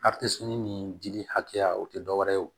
ni dili hakɛya o tɛ dɔwɛrɛ ye wo